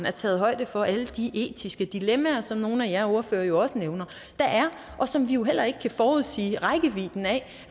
er taget højde for alle de etiske dilemmaer som nogle af ordførerne jo også nævner og som vi heller ikke kan forudsige rækkevidden af